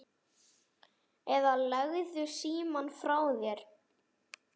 eða Leggðu símann frá þér!